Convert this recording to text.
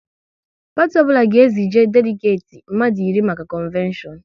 Parti ọbụla ga e zije deligeti mmadụ iri maka konveshonu